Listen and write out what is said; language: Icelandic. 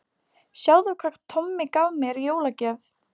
Sjáðu hvað Tommi gaf mér í jólagjöf